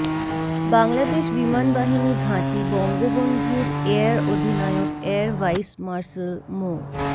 বাংলাদেশ বিমান বাহিনী ঘাঁটি বঙ্গবন্ধুর এয়ার অধিনায়ক এয়ার ভাইস মার্শাল মো